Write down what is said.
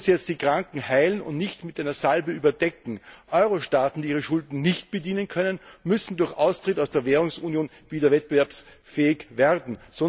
Man muss jetzt das Kranke heilen und nicht nur mit einer Salbe überdecken. Euro Staaten, die ihre Schulden nicht mehr bedienen können, müssen durch Austritt aus der Währungsunion wieder wettbewerbsfähig werden.